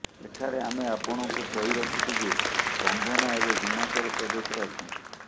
ଏଠାରେ ଆମେ ଆପଣଙ୍କୁ କହି ରଖୁଛୁ ଯେ କଙ୍ଗନା ଏବେ ହିମାଚଳପ୍ରଦେଶରେ ଅଛନ୍ତି